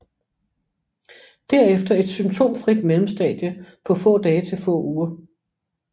Derefter et symptomfrit mellemstadie på få dage til få uger